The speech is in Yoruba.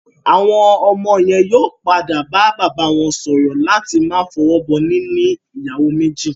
Àwọn ọmọ yẹn yóò padà bá bàbá wọ́n sọ̀rọ̀ láti máa fọwọ́ bọ níní ìyàwó méjì